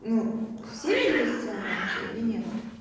ну все видели сцену вообще или нет